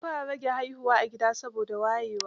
An fara rage haihuwa a gida, saboda wayewa.